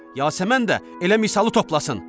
Yasəmən də elə misalı toplasın.